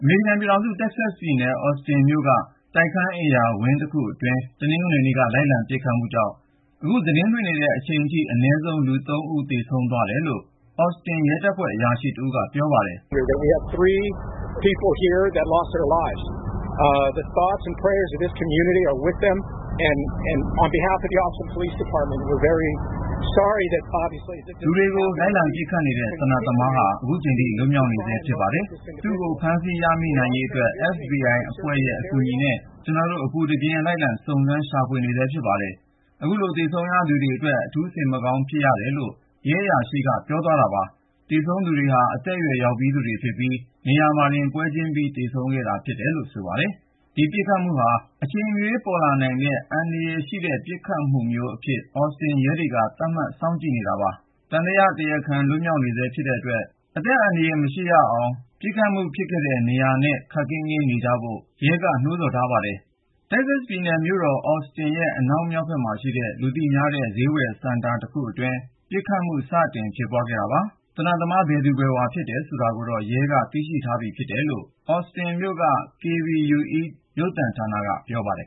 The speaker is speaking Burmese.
မေရိကန် ပြည်ထောင်စု တက္ကဆက်ပြည်နယ် အော်စတင်မြို့က တိုက်ခန်းအိမ်ယာဝင်း တခုအတွင်း တနင်္ဂနွေ နေ့က လိုက်လံပစ်ခတ်မှုကြောင့် အခုသတင်းလွှင့်နေတဲ့ အချိန်ထိ အနည်းဆုံး လူ(၃)ဦး သေဆုံးသွားတယ်လို့ အော်စတင် ရဲတပ်ဖွဲ့ အရာရှိတဦးက ပြောပါတယ်။ လူတွေကို လိုက်လံပစ်ခတ်နေတဲ့ သေနတ်သမားဟာ လွတ်မြောက်နေဆဲ ဖြစ်ပါတယ်။ သူ့ကို ဖမ်းဆီးရမိ နိုင်ရေးအတွက် FBI အဖွဲ့ရဲ့အကူအညီနဲ့ ကျနော်တို့ အပူတပြင်း စုံစမ်းရှာဖွေနေဆဲ ဖြစ်ပါတယ်။ ခုလို သေဆုံးသွားရ သူတွေအတွက် ရဲတပ်ဖွဲ့တခုလုံးရဲ့ကိုယ်စား စိတ်မကောင်းကြီးစွာ ဖြစ်ရပါတယ်လို့ ရဲအရာရှိက ပြောသွားတာပါ။ သေဆုံးသွားသူတွေဟာ အရွယ်ရောက်ပြီးသူတွေ ဖြစ်ပြီး ၊ နေရာမှာတင် ပွဲချင်းပြီး သေဆုံးခဲ့တယ်လို့ ဆိုပါတယ်။ ဒီပစ်ခတ်မှုဟာ အချိန်မရွေး ပြန်ပေါ်လာနိုင်တဲ့ အန္တရာယ်ရှိဆဲ ပစ်ခတ်မှုမျိုးအဖြစ် အော်စတင်မြို့ ရဲတွေက သတ်မှတ် စောင့်ကြည့်နေတာပါ။ သံသယ တရားခံက လွတ်မြောက်နေဆဲ ဖြစ်တဲ့အတွက် ဒေသခံပြည်သူတွေ အသက်အန္တရာယ် မရှိရအောင် ပစ်ခတ်မှုဖြစ်ထားတဲ့ နေရာနားတဝိုက်ကို မသွားကြဖို့ ရဲက သတိပေးနှိုးဆော်ထားပါတယ်။ ပစ်ခတ်မှုဟာ တက္ကဆက်ပြည်နယ်ရဲ့မြို့တော် အော်စတင်ရဲ့ အနောက်မြောက်ဖက်က လူသိများတဲ့ ဈေးဝယ်စင်တာနား စတင်ဖြစ်ပွားခဲ့တာပါ။ သေနတ်သမား ဘယ်သူ ဘယ်ဝါ ဖြစ်တယ်ဆိုတာ ရဲက သိရှိထားပြီ ဖြစ်တယ်လို့ အော်စတင်မြို့ KVUE-TV ရုပ်သံဌာနက ပြောပါတယ်